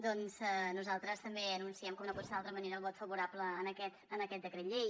doncs nosaltres també anunciem com no podia ser d’altra manera el vot favorable en aquest decret llei